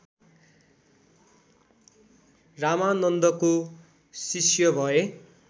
रामानन्दको शिष्य भए